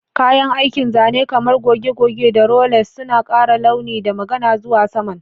Kayan aikin zane kamar goge-goge da rollers suna ƙara launi da magana zuwa saman.